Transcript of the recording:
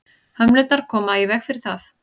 hömlurnar koma í veg fyrir það